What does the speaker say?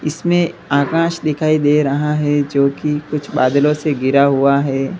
इसमें आकाश दिखाई दे रहा है जो कि कुछ बादलों से घिरा हुआ है।